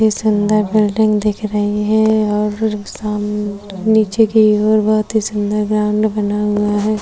बड़ी सुंदर बिल्डिंग दिख रही है और फिर साम नीचे की ओर बहुत ही सुंदर ग्राउंड बना हुआ है।